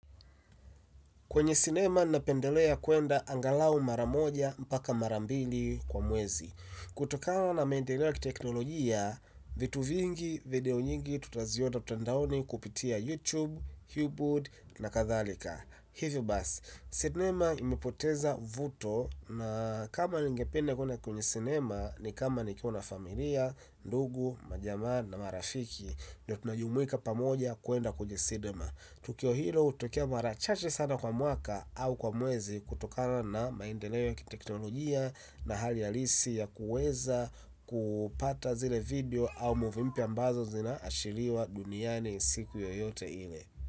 Kwenye cinema ninapendelea kuenda angalau mara moja mpaka mara mbili kwa mwezi. Kutokana na maendeleo ya teknolojia, vitu vingi video nyingi tutaziona mtandaoni kupitia YouTube, Hubwood na kathalika. Hivyo basi. Cinema imepoteza uvuto na kama ningependa kuenda kwenye cinema ni kama nikiwa na familia, ndugu, majamaa na marafiki. Ndio tunajumuika pamoja kuenda kwenye cinema. Tukio hilo utokea mara chache sana kwa mwaka au kwa mwezi kutokana na maendeleo ya teknolojia na hali halisi ya kuweza kupata zile video au movie mpya ambazo zinaashiriwa duniani siku yoyote ile.